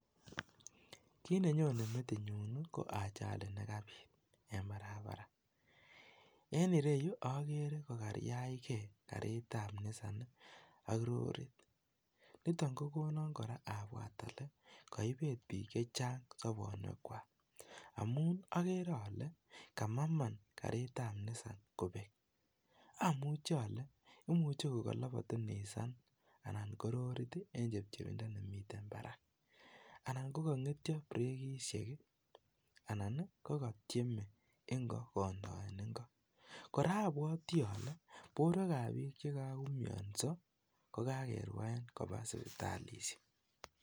Kiit nenyone metinyun ko ajali nekabiit en baraabaraa, en ireyu okere kokariachkee karitab nisan ak rorit, niton kokonon kora abwaat olee koibet biik chechang sobonuekwak amun okere olee kamaman karitab nisan kobek, amuche olee imuche kokolobotu nisan anan ko rorit en chepchepindo nemiten barak anan ko kong'etyo brekishek anan ko kotieme ing'o kondoen ing'o, kora obwotii olee borwekab biik che kakoumioso ko kakerwaen koba sipitali.